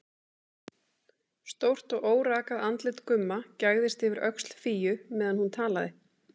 Stórt og órakað andlit Gumma gægðist yfir öxl Fíu meðan hún talaði.